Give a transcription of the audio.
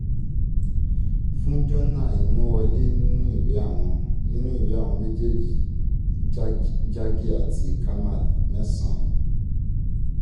fún jọ́nà imú wọlé nínú ìwé àwọn nínú ìwé àwọn méjèèjì jaggi àti kamath. mẹ́sàn-án